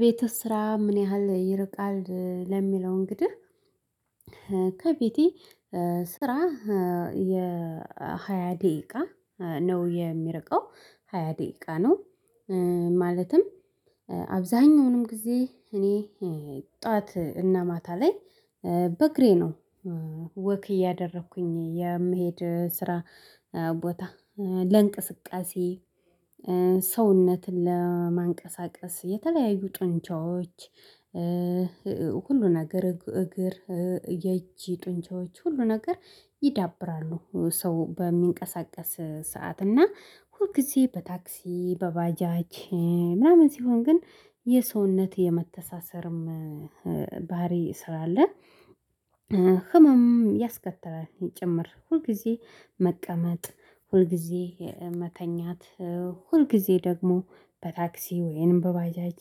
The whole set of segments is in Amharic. ቤትህ ስራ ምን ያህል ይርቃል? ለሚለው እንግዲህ ከቤቴ ስራ የሃያ ደቂቃ ነው የሚርቀው ሃያ ደቂቃ ነው። ማለትም አብዛሀኛውንም ጊዜ እኔ ጠዋት እና ማታ ላይ በእግሬ ነው። ወክ እያደረኩኝ የምሄድ ስራ ቦታ ለእንቅስቃሴ ሰውነትን ለማንቀሳቀስ የተለያዩ ጡንቻዎች ሁሉ ነገር እግር የእጅ ጡንቻዎች ሁሉ ነገር ይዳብራሉ ሰው በሚንቀሳቀስ ሰዓት እና ሁል ጊዜ በታክሲ በባጃች ምናምን ሲሆን ግን የሰውነት የመተሳሰርም ባህሪ ስራ አለ። ህመም ያስከትላል ጭምር ሁል ጊዜ መቀመጥ ሁል ጊዜ መተኛት ሁልጊዜ ደግሞ በታክሲ ወይንም በባጃጂ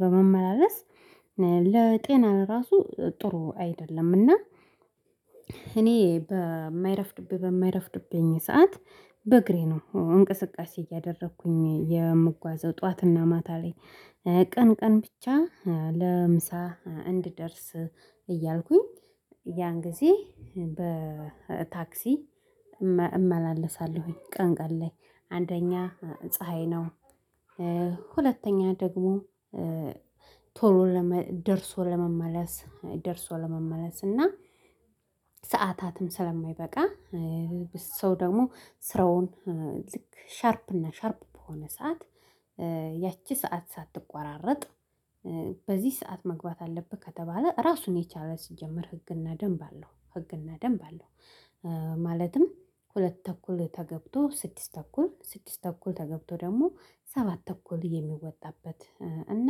በመመላለስ ለጤና ለራሱ ጥሩ አይደለም እና። እኔ በማይረፍድብኝ በማይረፍድብኝ ሰዓት በእግሬ ነው እንቅስቃሴ እያደረኩኝ የምጓዘው ጠዋትና ማታ ላይ ቀን ቀን ብቻ ለምሳ እንድደርስ እያልኩኝ ያን ጊዜ በታክሲ እመላለሳለሁኝ ቀን ቀን ላይ አንደኛ ፀሀይ ነው። ሁለተኛ ደግሞ ቶሎ ለመ ደርሶ ለመመለስ ደርሶ ለመመለስ እና ሰዓታትም ስለማይበቃ ሰው ደግሞ ስራውን ልክ ሻርፕ እና ሻርፕ በሆነ ሰዓት ያቺ ሰዓት ሳትቆራረጥ በዚህ ሰዓት መግባት አለብህ ከተባለ ራሱን የቻለ ሲጀምር ህግና ደንብ አለው ህግና ደንብ አለው። ማለትም ሁለት ተኩል ተገብቶ ስድስት ተኩል ስድስት ተኩል ተገብቶ ደግሞ ሰባት ተኩል የሚወጣበት እና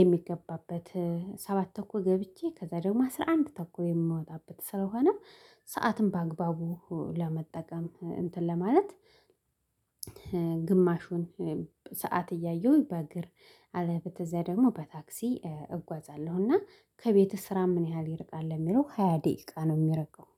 የሚገባበት ሰባት ተኩል ገብቼ ከዛ ደግሞ አስራ አንድ ተኩል የምወጣበት ስለሆነ ሰዓትም በአግባቡ ለመጠቀም እንትን ለማለት ግማሹን ሰዓት እያየሁኝ በእግር አለበተዛ ደግሞ በታክሲ እጓዛለሁ። እና ከቤትህ ስራ ምን ያህል ይርቃል ለሚለው ሃያ ደቂቃ ነው የሚርቀው